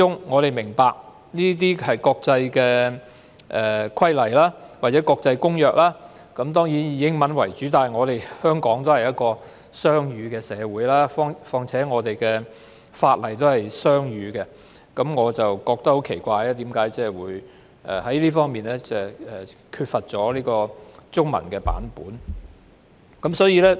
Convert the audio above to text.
我們明白國際規例或公約當然是以英文為主，但香港是雙語社會，再加上我們的法例都是雙語的，所以我對於為何有關的附則沒有中文本感到很奇怪。